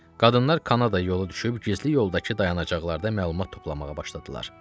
Qadınlar Kanada yolu düşüb gizli yoldakı dayanacaqlarda məlumat toplamağa başladılar.